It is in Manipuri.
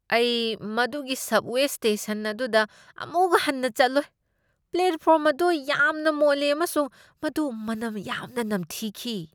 ꯑꯩ ꯃꯗꯨꯒꯤ ꯁꯕꯋꯦ ꯁ꯭ꯇꯦꯁꯟ ꯑꯗꯨꯗ ꯑꯃꯨꯛ ꯍꯟꯅ ꯆꯠꯂꯣꯏ꯫ ꯄ꯭ꯂꯦꯠꯐꯣꯔꯝ ꯑꯗꯨ ꯌꯥꯝꯅ ꯃꯣꯠꯂꯤ, ꯑꯃꯁꯨꯡ ꯃꯗꯨ ꯃꯅꯝ ꯌꯥꯝꯅ ꯅꯝꯊꯤꯈꯤ꯫